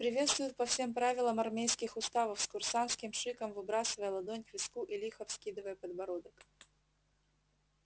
приветствуют по всем правилам армейских уставов с курсантским шиком выбрасывая ладонь к виску и лихо вскидывая подбородок